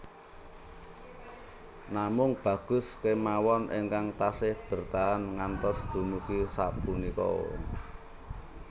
Namung Bagus kemawon ingkang taksih bertahan ngantos dumugi sapunika